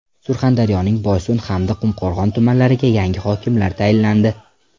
Surxondaryoning Boysun hamda Qumqo‘rg‘on tumanlariga yangi hokimlar tayinlandi.